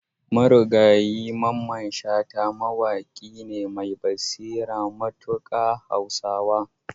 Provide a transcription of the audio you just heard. Marigayi Mamman Shata mawaƙi ne mai basira matuƙa a Hausa.